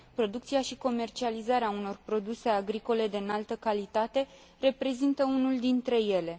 Producția și comercializarea unor produse agricole de înaltă calitate reprezintă unul dintre ele.